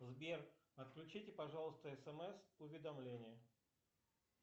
сбер отключите пожалуйста смс уведомления